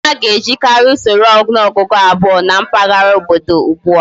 Anaghi ejikari Usoro onuogugu abuo na mpaghara obodo ugbua